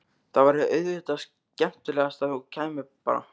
Það væri auðvitað skemmtilegast að þú kæmir bara!